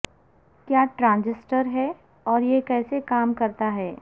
کیا ٹرانجسٹر ہے اور یہ کیسے کام کرتا ہے